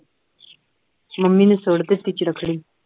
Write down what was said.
mummy ਨੇ ਸੁੱਟ ਦਿੱਤੀ ਚਰਖੜੀ